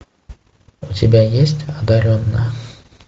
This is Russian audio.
у тебя есть одаренная